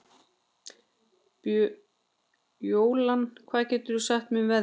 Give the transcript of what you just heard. Bjólan, hvað geturðu sagt mér um veðrið?